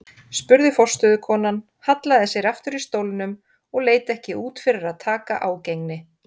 spurði forstöðukonan, hallaði sér aftur í stólnum og leit ekki út fyrir að taka ágengni